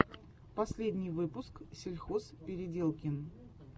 последний выпуск сельхозпеределкин